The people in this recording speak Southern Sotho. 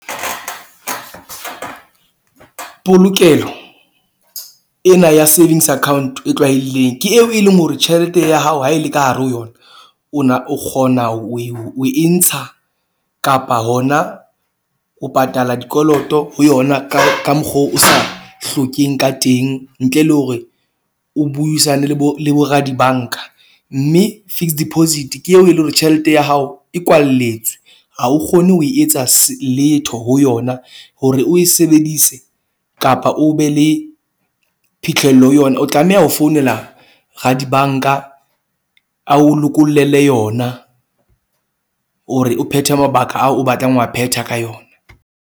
Polokelo ena ya savings account e tlwaelehileng ke eo e leng hore, tjhelete ya hao ha e le ka hare ho yona ona, o kgona o e ntsha kapa hona o patala dikoloto ho yona ka ka mokgwa o sa hlokeng ka teng ntle le hore o buisane le bo le bo ra di-bank-a. Mme fixed deposit ke eo eleng hore tjhelete ya hao e kwalletswe. Ha o kgone ho e etsa letho ho yona. Hore o e sebedise kapa o be le phitlhello yona, o tlameha ho founela ra di-bank-a. A o lokollele yona hore o phethe mabaka ao o batlang ho a phetha ka yona.